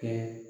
Kɛ